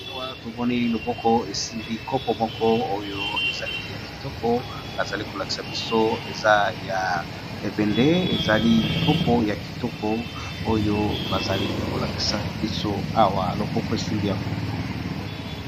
Awa tomoni loboko esimbi kopo moko oyo ezali ya kitoko bazali kolakisa biso eza ya ebende ezali kopo moko yakitoko oyo bazali kolakisa biso awa loboko esimbi yango